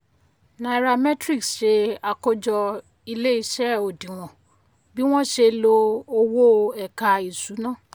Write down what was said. nairametrics ṣe àkójọ ilé iṣé òdiwọ̀n bí wọn ṣe lo owó ẹ̀ka ìṣúná.